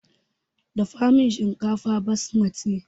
Dafa min shinkafar basmati!